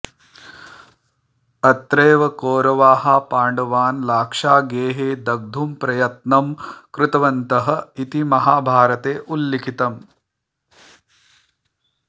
अत्रैव कौरवाः पाण्डवान् लाक्षागेहे दग्धुं प्रयत्नं कृतवन्तः इति महाभारते उल्लिखितम्